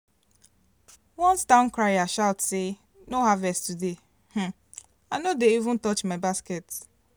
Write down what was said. once town crier shout say no-harvest today um i no even dey even touch my basket